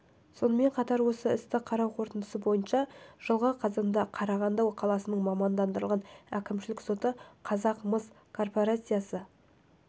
сонымен қатар осы істі қарау қорытындысы бойынша жылғы қазанда қарағанды қаласының мамандандырылған әкімшілік соты қазақмыс корпорациясы